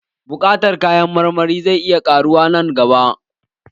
Buƙatar kayan marmari zai iya ƙaruwa nan gaba